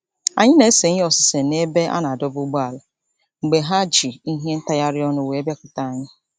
Anyị na-ese ihe osise n'ebe a na-adọba ụgbọala mgbe ha ji ihe ntagharị ọnụ wee bịakwute anyị.